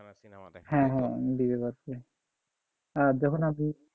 হ্যাঁ হ্যাঁ আর যখন আপনি,